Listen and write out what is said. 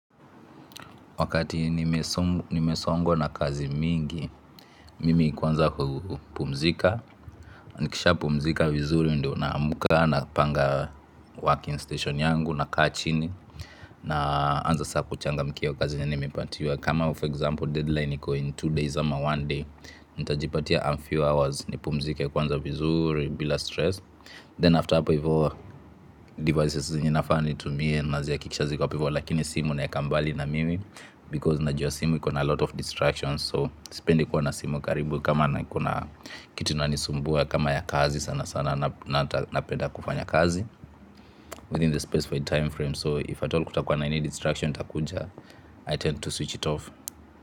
Wakati nimesongwa na kazi mingi, mimi kwanza hupumzika, nikisha pumzika vizuri ndo naamka napanga working station yangu nakaa chini na anza saa kuchangamkia kazi yenye nimepatiwa. Kama for example deadline iko in two days ama one day, nitajipatia a few hours ni pumzike kwanza vizuri bila stress. Then after hapo hivyo devices zenye nafaa ni tumie na zia kikisha ziko hapo hivyo lakini simu naeka mbali na mimi Because na jua simu iko na lot of distractions So sipendi kuwa na simu karibu kama na kitu nani sumbua kama ya kazi sana sana na napenda kufanya kazi Within the specified time frame so if at all kutakuwa na any distraction itakuja I tend to switch it off.